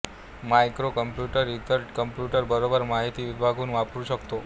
micro computer इतर computer बरोबर माहिती विभागून वापरू शकतो